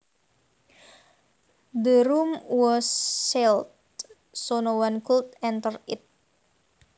The room was sealed so no one could enter it